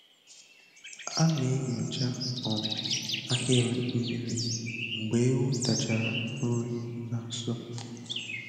A na-enyocha um ahịrị mmiri mgbe ewu tachara nri na nso.